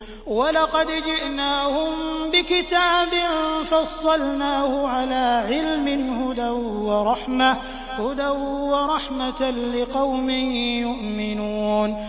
وَلَقَدْ جِئْنَاهُم بِكِتَابٍ فَصَّلْنَاهُ عَلَىٰ عِلْمٍ هُدًى وَرَحْمَةً لِّقَوْمٍ يُؤْمِنُونَ